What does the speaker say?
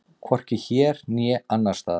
Hvorki hér né annars staðar.